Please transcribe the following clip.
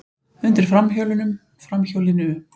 Undir framhjólunum, framhjólinu.